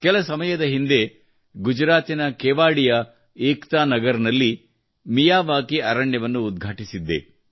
ಕೆಲ ಸಮಯದ ಹಿಂದೆ ಗುಜರಾತಿನ ಕೆವಾಡಿಯ ಏಕ್ತಾ ನಗರದಲ್ಲಿ ಮಿಯಾವಾಕಿ ಅರಣ್ಯವನ್ನು ಉದ್ಘಾಟಿಸಿದ್ದೆ